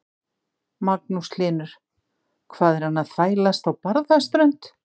Magnús Hlynur: Hvað er hann að þvælast á Barðaströnd?